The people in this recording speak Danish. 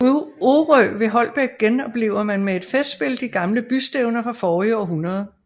På Orø ved Holbæk genoplever man med et festspil de gamle bystævner fra forrige århundrede